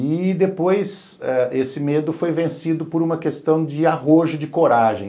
E depois, eh esse medo foi vencido por uma questão de arrojo, de coragem.